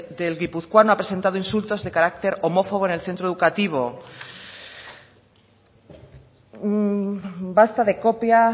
del guipuzcoano ha presentado insultos de carácter homófobo en el centro educativo basta de copia